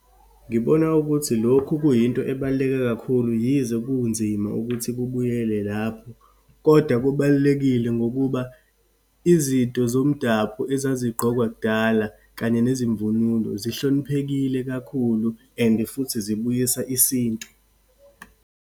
Ngibona ukuthi lokhu kuyinto ebaluleke kakhulu, yize kunzima ukuthi kubuyele lapho. Kodwa kubalulekile ngokuba izinto zomdabu ezazigqokwa kudala, kanye nezimvunulo zihloniphekile kakhulu, and futhi zibuyisa isintu.